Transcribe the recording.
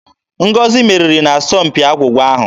Ngozi meriri n'asọmpi agwụgwa ahụ.